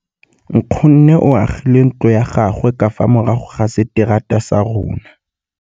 Nkgonne o agile ntlo ya gagwe ka fa morago ga seterata sa rona.